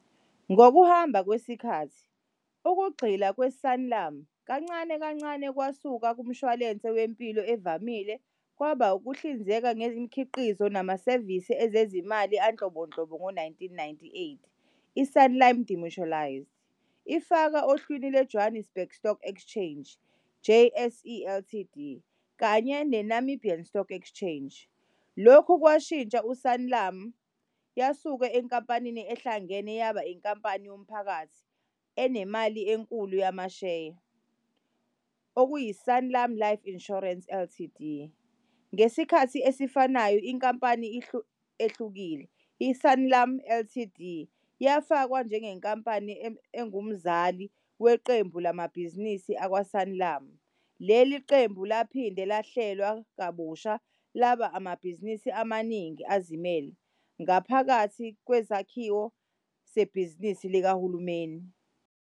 Ngokuhamba kweminyaka, ukugxila kwe-Sanlam kancane kancane kwasuka kumshwalense wempilo evamile kwaba ukuhlinzeka ngemikhiqizo namasevisi ezezimali anhlobonhlobo. Ngo-1998 i-Sanlam demutualised, ifaka ohlwini lwe- Johannesburg Stock Exchange, JSE, Ltd kanye ne-Namibian Stock Exchange. Lokhu kwashintsha i-Sanlam yasuka enkampanini ehlangene yaba inkampani yomphakathi enemali enkulu yamasheya, okuyi-Sanlam Life Insurance Ltd. Ngesikhathi esifanayo inkampani ehlukile, i-Sanlam Ltd, yafakwa njengenkampani engumzali weqembu lamabhizinisi akwa-Sanlam. Leli qembu laphinde lahlelwa kabusha laba amabhizinisi amaningana azimele ngaphakathi kwesakhiwo sebhizinisi likahulumeni.